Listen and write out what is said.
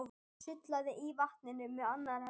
Sullaði í vatninu með annarri hendi.